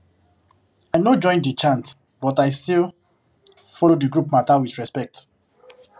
i no join the chant but i still follow the group matter with respect